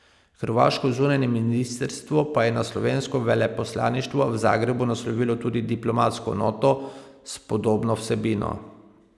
Hrvaško zunanje ministrstvo pa je na slovensko veleposlaništvo v Zagrebu naslovilo tudi diplomatsko noto s podobno vsebino.